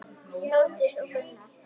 Þórdís og Gunnar.